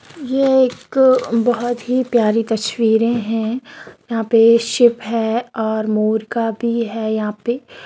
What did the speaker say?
यह एक बहुत ही प्यारी तस्वीरे हैं यहाँ पे शिप हैं और मोर का भी हैं यहाँ पे।